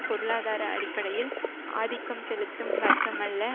பொருளாதார அடிப்படையில் ஆதிக்கம் செலுத்தும் வர்க்கமல்ல